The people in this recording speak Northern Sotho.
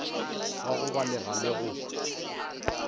wa go balega le go